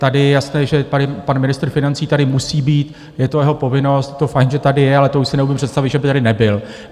Tady je jasné, že pan ministr financí tady musí být, je to jeho povinnost, je to fajn, že tady je, ale to už si neumím představit, že by tady nebyl.